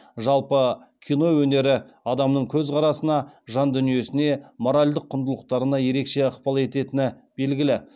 жалпы кино өнері адамның көзқарасына жан дүниесіне моральдық құндылықтарына ерекше ықпал ететіні белгілі